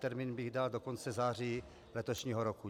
Termín bych dal do konce září letošního roku.